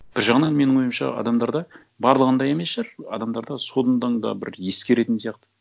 бір жағынан менің ойымша адамдарда барлығында емес шығар адамдарда содан да бір ескеретін сияқты